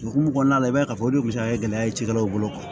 Hukumu kɔnɔna la i b'a ye k'a fɔ o de kun bɛ se ka kɛ gɛlɛya ye cikɛlaw bolo